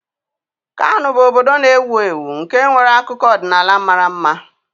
Kano bụ obodo na-ewu ewu nke nwere akụkọ ọdịnala mara mma